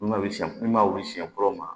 N'u ma wuli siyɛn mun ma wuli siɲɛ fɔlɔ ma